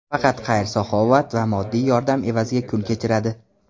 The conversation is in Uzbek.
Faqat xayr-saxovat va moddiy yordam evaziga kun kechiradi.